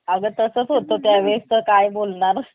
अगं तसं होत त्या वेळेस तर काय बोलणार